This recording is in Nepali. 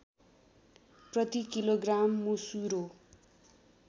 प्रति किलोग्राम मुसुरो